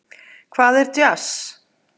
Hvað er djass?